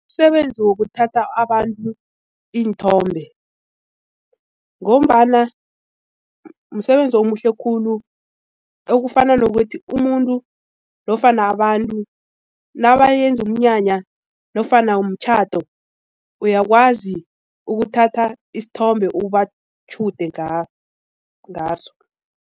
Umsebenzi wokuthatha abantu iinthombe ngombana msebenzi omuhle khulu ekufana nokuthi umuntu nofana abantu nabayenza umnyanya nofana umtjhado uyakwazi ukuthatha isithombe ubatjhude ngaso.